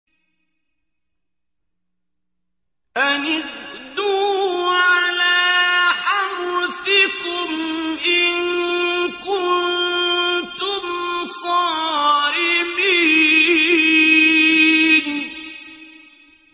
أَنِ اغْدُوا عَلَىٰ حَرْثِكُمْ إِن كُنتُمْ صَارِمِينَ